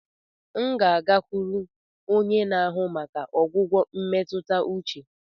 M ga-agakwuru onye na-ahụ maka ọgwụgwọ emetuta uche.